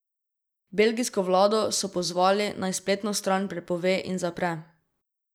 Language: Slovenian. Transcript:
Belgijsko vlado so pozvali, naj spletno stran prepove in zapre.